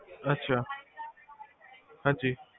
ਅਛਾ ਹਾਂਜੀ